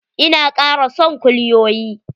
Ina kara son kulyoyi.